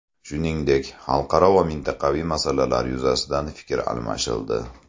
Shuningdek, xalqaro va mintaqaviy masalalar yuzasidan fikr almashildi.